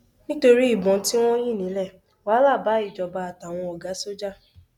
nítorí ìbọn tí wọn yìn ní le wàhálà bá ìjọba àtàwọn ọgá sójà